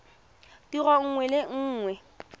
tiro nngwe le nngwe e